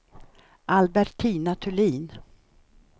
Albertina Thulin